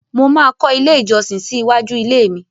Mo máa kọ́ ilé ìjọsìn sí iwájú ilé mi.